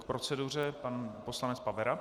K proceduře pan poslanec Pavera.